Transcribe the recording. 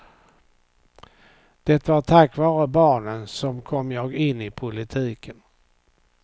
Det var tack vare barnen som kom jag in i politiken.